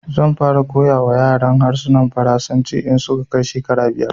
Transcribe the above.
Zan fara koya wa yaran harshen Faransanci in su ka kai shekara biyar